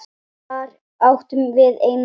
Þar áttum við eina dóttur.